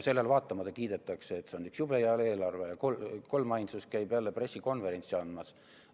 Sellele vaatamata kiidetakse, et see on üks jube hea eelarve, ja kolmainsus käib jälle pressikonverentsi andmas.